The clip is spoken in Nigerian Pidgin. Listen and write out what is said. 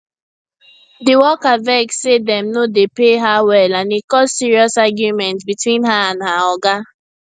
the worker vex say dem no dey pay her well and e cause serious argument between her and her oga